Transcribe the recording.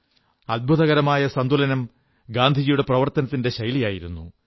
അത്ഭുതകരമായ സന്തുലനം ഗാന്ധിയുടെ പ്രവർത്തന ശൈലിയിലുണ്ടായിരുന്നു